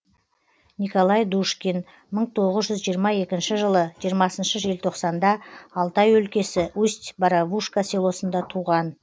николай душкин мың тоғыз жүз жиырма екінші жылы жиырмасыншы желтоқсанда алтай өлкесі усть боровушка селосында туған